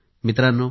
मित्रांनो